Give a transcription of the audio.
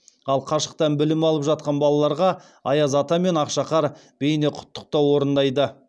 ал қашықтан білім алып жатқан балаларға аяз ата мен ақшақар бейнеқұттықтау орындайды